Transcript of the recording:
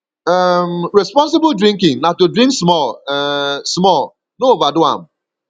um responsible drinking na to drink small um small no overdo am